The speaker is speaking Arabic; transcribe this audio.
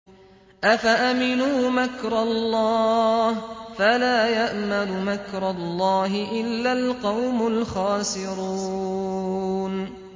أَفَأَمِنُوا مَكْرَ اللَّهِ ۚ فَلَا يَأْمَنُ مَكْرَ اللَّهِ إِلَّا الْقَوْمُ الْخَاسِرُونَ